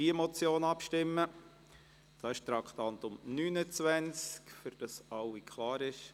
Es handelt sich um das Traktandum 29, damit es für alle klar ist.